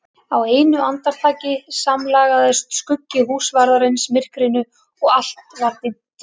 Á einu andartaki samlagaðist skuggi húsvarðarins myrkrinu og allt var dimmt.